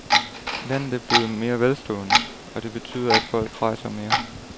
Landet er blevet mere velstående, og det betyder, at folk rejser mere.